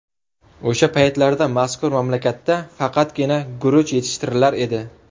O‘sha paytlarda mazkur mamlakatda faqatgina guruch yetishtirilar edi.